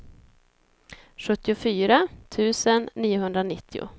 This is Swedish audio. sjuttiofyra tusen niohundranittio